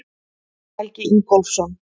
Helgi Ingólfsson.